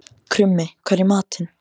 Krummi, hvað er í matinn?